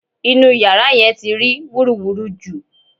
Inú yàrá yẹn ti rí wúruwùru jù